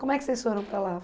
Como é que vocês foram para lá?